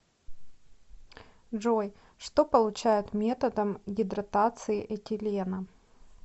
джой что получают методом гидратации этилена